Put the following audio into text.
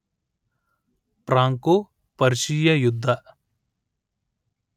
Franco Persia ಯುದ್ಧ